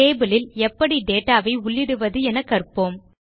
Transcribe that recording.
table லில் எப்படி data வை உள்ளிடுவது என கற்போம்